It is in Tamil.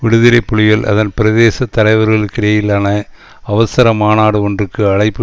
விடுதலை புலிகள் அதன் பிரதேச தலைவர்களுக்கிடையிலான அவசர மாநாடு ஒன்றுக்கு அழைப்பு